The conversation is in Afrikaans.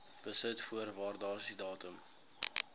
besit voor waardasiedatum